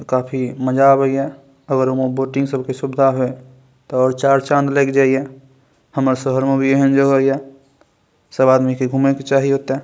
अ काफी मजा आवे ये अगर ओय मे बोटिंग सब के सुविधा हुए ते और चार चांद लाएग जाय ये हमरा शहर मे भी एहेन जगह ये सब आदमी के घूमे के चाही ओते।